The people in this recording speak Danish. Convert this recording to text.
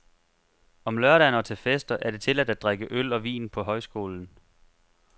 Om lørdagen og til fester er det tilladt at drikke øl og vin på højskolen.